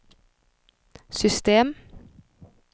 system